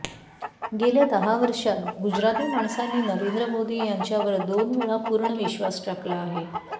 गेल्या दहा वर्षांत गुजराती माणसांनी नरेंद्र मोदी यांच्यावर दोन वेळा पूर्ण विश्वास टाकला आहे